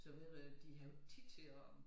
Så videre de har jo ikke tid til at